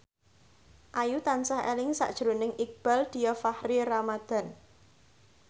Ayu tansah eling sakjroning Iqbaal Dhiafakhri Ramadhan